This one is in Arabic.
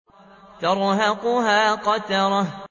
تَرْهَقُهَا قَتَرَةٌ